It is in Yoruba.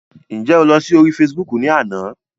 Ǹjẹ́ o lọ sí orí Facebook ni àná?